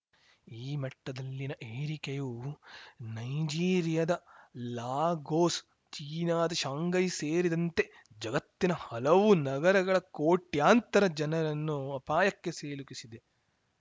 ಈ ಮಟ್ಟದಲ್ಲಿನ ಏರಿಕೆಯು ನೈಜೀರಿಯಾದ ಲಾಗೋಸ್‌ ಚೀನಾದ ಶಾಂಘೈ ಸೇರಿದಂತೆ ಜಗತ್ತಿನ ಹಲವು ನಗರಗಳ ಕೋಟ್ಯಂತರ ಜನರನ್ನು ಅಪಾಯಕ್ಕೆ ಸಿಲುಕಿಸಿದೆ